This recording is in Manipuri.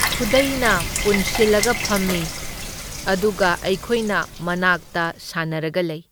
ꯈꯨꯗꯩꯅ ꯄꯨꯟꯁꯤꯜꯂꯒ ꯐꯝꯢ ꯑꯗꯨꯒ ꯑꯩꯈꯣꯏꯅ ꯃꯅꯥꯛꯇ ꯁꯥꯟꯅꯔꯒ ꯂꯩ꯫